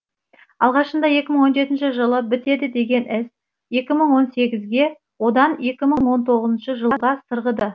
алғашында екі мың он жетінші жылы бітеді деген іс екі мың он сегізге одан екі мың он тоғызыншы жылға сырғыды